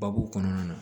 Babu kɔnɔna na